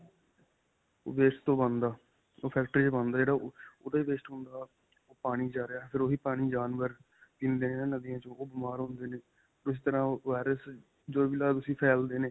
ਓਹ waste ਤੋਂ ਬਣਦਾ. ਉਹ ਫੈਕਟਰੀ ਵਿੱਚ ਬਣਦਾ ਜਿਹੜਾ ਓਹਦਾ waste ਹੁੰਦਾ ਉਹ ਪਾਣੀ ਵਿੱਚ ਜਾ ਰਿਹਾ ਫਿਰ ਓਹੀ ਪਾਣੀ ਜਾਨਵਰ ਪੀਂਦੇ ਨੇ ਹੈ ਨਾਂ ਨਦੀਆਂ ਵਿਚੋਂ ਉਹ ਬੀਮਾਰ ਹੁੰਦੇ ਨੇ. ਇਸ ਤਰਾਂ virus ਜੋ ਵੀ ਲਾ ਲੋ ਤੁਸੀਂ ਫੈਲਦੇ ਨੇ.